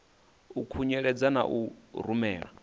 a khunyeledzwa na u rumelwa